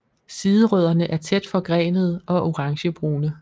Siderødderne er tæt forgrenede og orangebrune